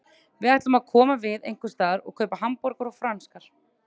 Við ætlum að koma við einhversstaðar og kaupa hamborgara og franskar.